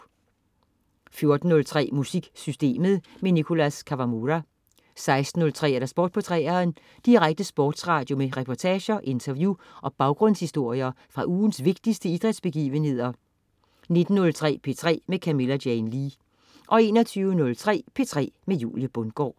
14.03 MusikSystemet. Nicholas Kawamura 16.03 Sport på 3'eren. Direkte sportsradio med reportager, interview og baggrundshistorier fra ugens vigtigste idrætsbegivenheder 19.03 P3 med Camilla Jane Lea 21.03 P3 med Julie Bundgaard